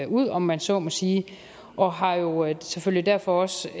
ud om man så må sige og har jo selvfølgelig derfor også